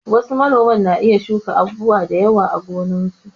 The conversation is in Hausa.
Wasu manoman na iya shuka abubuwa da yawa a gonarsu.